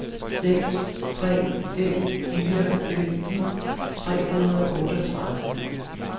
seks tre fem fire femten tre hundrede og otteogtredive